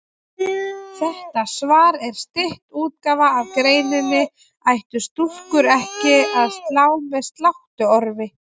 Þetta svar er stytt útgáfa af greininni Ættu stúlkur ekki að slá með sláttuorfi?